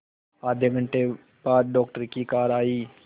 आधे घंटे बाद डॉक्टर की कार आई